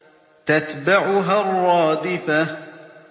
تَتْبَعُهَا الرَّادِفَةُ